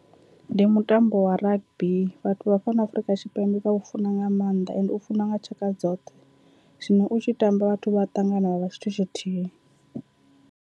Ndi mutambo wa rugby vhathu vha fhano Afurika Tshipembe vha u funa nga maanḓa ende u funiwa nga tshaka dzoṱhe, zwino u tshi tamba vhathu vha ṱangana vha vha tshithu tshithihi.